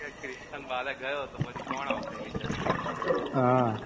કે Christian Bale ગ્યો પછી કોણ આવસે હમ